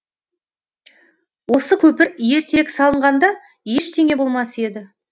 осы көпір ертерек салынғанда ештеңе болмас еді